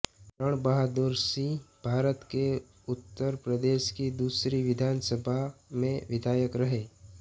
रण बहादुर सिंहभारत के उत्तर प्रदेश की दूसरी विधानसभा सभा में विधायक रहे